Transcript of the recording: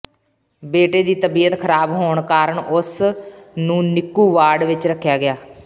ਬੇਟੇ ਦੀ ਤਬੀਅਤ ਖਰਾਬ ਹੋਣ ਕਾਰਨ ਉਸ ਨੂੰ ਨਿੱਕੂ ਵਾਰਡ ਵਿਚ ਰੱਖਿਆ ਗਿਆ